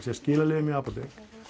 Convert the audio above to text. að skila lyfjum í apótek